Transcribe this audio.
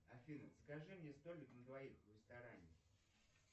афина закажи мне столик на двоих в ресторане